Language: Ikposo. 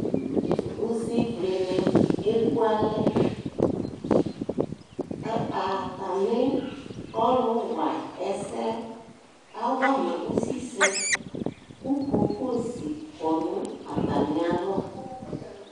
Usivlɩnɩ ekualɛ kʋ atamɩ ɔlʋwaɛsɛ yɛ awa ma usisɛ kʋ kokosi kɔ nʋ atamɩalɔ